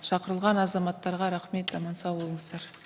шақырылған азаматтарға рахмет аман сау болыңыздар